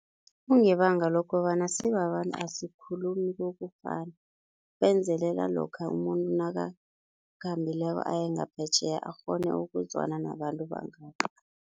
Kungebanga lokobana sibabantu isikhulumi kokufana, benzelela lokha umuntu nakakhambileko ayengaphetjheya akghone ukuzwana nabantu bangapho.